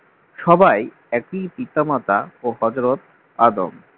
সবাই একই পিতা-মাতা ও হযরত আদম